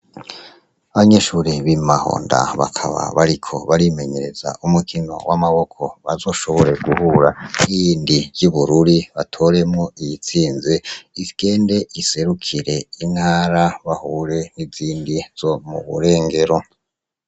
Banyeshuri b'imahonda bakaba bariko barimenyereza umukino w'amaboko bazoshobore guhura yindi ry'ibururi batoremwo iyitsinze igende iserukire intara bahure n'izindi zo muburengero.